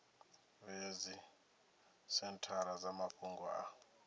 vhea dzisenthara dza mafhungo a